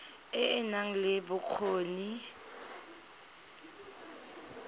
e e nang le bokgoni